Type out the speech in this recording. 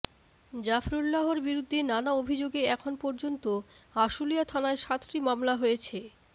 জাফরুল্লাহর বিরুদ্ধে নানা অভিযোগে এখন পর্যন্ত আশুলিয়া থানায় সাতটি মামলা হয়েছে